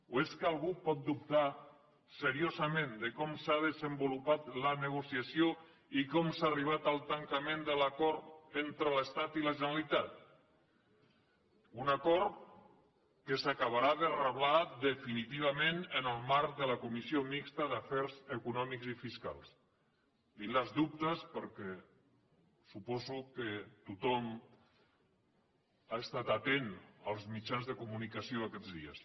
o és que algú pot dubtar seriosament de com s’ha desenvolupat la negociació i com s’ha arribat al tancament de l’acord entre l’estat i la generalitat un acord que s’acabarà de reblar definitivament en el marc de la comissió mixta d’afers econòmics i fiscals dic els dubtes perquè suposo que tothom ha estat atent als mitjans de comunicació aquests dies